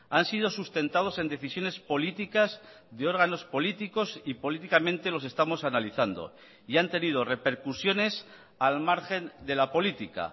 han sido sustentados en decisiones políticas de órganos políticos y políticamente los estamos analizando y han tenido repercusiones al margen de la política